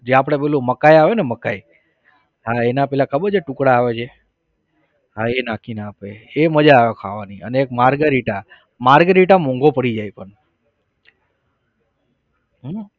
જે આપણે પેલું મકાઈ આવે ને મકાઈ હા એના પેલા ખબર છે ટુકડા આવે છે? હા એ નાખી ને આપે એ મજા આવે ખાવાની અને એક margherita margherita મોંઘો પડી જાય પણ હમ